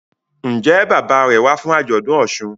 Njé Bàbá rẹ wá fún ajọdun òsùn?